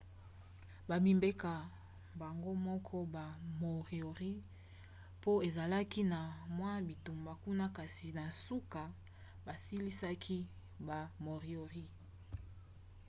bamibengaka bango moko ba moriori po ezalaki na mwa bitumba kuna kasi na suka basilisaki ba moriori